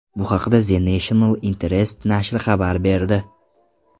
Bu haqda The National Interest nashri xabar berdi .